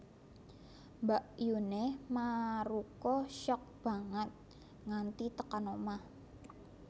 Mbakyune Maruko shock banget nganti tekan omah